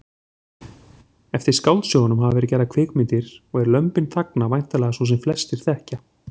Eftir skáldsögunum hafa verið gerðar kvikmyndir og er Lömbin þagna væntanlega sú sem flestir þekkja.